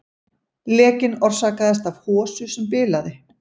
Lekinn orsakaðist af hosu sem bilaði